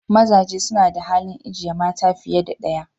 Mazaje suna da halin ijeye mata fiye da daya.